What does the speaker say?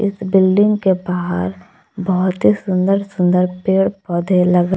building के बाहर बहोत ही सुंदर सुंदर पेड़ पौधे लग--